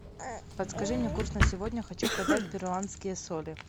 подскажи мне курс на сегодня хочу продать перуанские соли